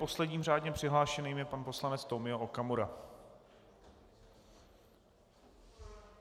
Posledním řádně přihlášeným je pan poslanec Tomio Okamura.